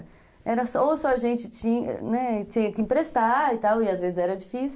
Ou só a gente tinha que emprestar e tal, e às vezes era difícil...